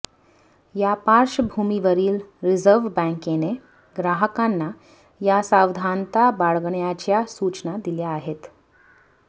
या पार्श्वभूमीवरील रीझर्व्ह बँकेने ग्राहकांना या सावधानता बाळगण्याच्या सूचना दिल्या आहेत